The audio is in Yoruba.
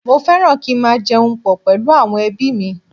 Mo fẹ́ràn kí n máa jẹun pọ̀ pẹ̀lú àwọn ẹbí mi